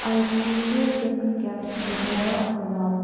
i see few things kept in the corner of the wall.